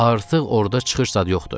Artıq orda çıxış zad yoxdur.